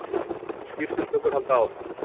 Skýrslutökur halda áfram